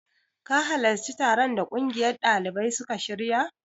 Ka halarci taron da ƙungiyar ɗalibai suka shirya?